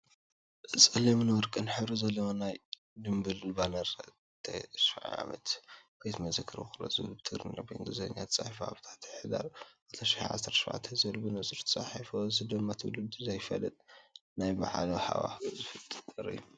ጸሊምን ወርቅን ሕብሪ ዘለዎ ናይ ጽምብል ባነር፣ “9ይ ዓመት ቤተ መዘክር ውቕሮ” ዝብል ብትግርኛን ብኢንግሊዝኛን ተፃሒፉ፣ ኣብ ታሕቲ “ሕዳር 2017” ዝብል ብንጹር ተጻሒፉ ኣሎ፣ እዚ ድማ ንትውልዲ ዘፍልጥን ናይ በዓል ሃዋህው ዝፈጥርን እዩ።